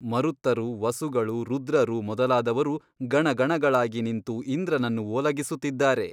ಮರುತ್ತರು ವಸುಗಳು ರುದ್ರರು ಮೊದಲಾದವರು ಗಣಗಣಗಳಾಗಿ ನಿಂತು ಇಂದ್ರನನ್ನು ಓಲಗಿಸುತ್ತಿದ್ದಾರೆ.